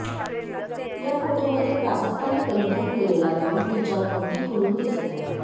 या फोटोमध्ये प्राजक्ताने परिधान केलेला गाउन तिच्यावर अगदी खुलून दिसत आहे